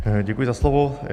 Děkuji za slovo.